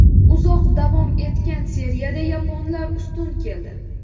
Uzoq davom etgan seriyada yaponlar ustun keldi.